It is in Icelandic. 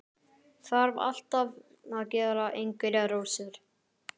Þarf alltaf að gera einhverjar rósir.